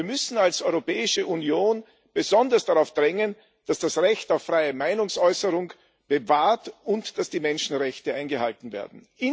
Wir müssen als Europäische Union besonders darauf drängen, dass das Recht auf freie Meinungsäußerung bewahrt wird und dass die Menschenrechte eingehalten werden.